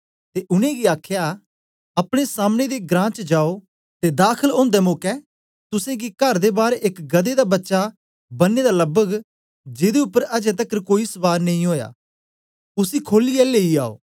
ते उनेंगी आखया अपने सामने दे ग्रां च जाओ ते दाखल उन्दे मौके तुसेंगी कर दे बार एक गदहे दा बच्चा बने दा लबग जिदे उपर अजें तकर कोई सवार नेई ओया उसी खोलियै लेई आओ